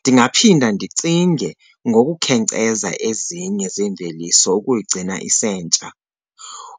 Ndingaphinda ndicinge ngokukhenkceza ezinye zeemveliso ukuyigcina isentsha.